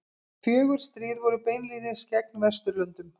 Fjögur stríð voru beinlínis gegn Vesturlöndum.